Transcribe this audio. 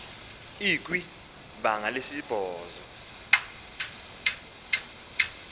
ikwi banga lesibhozo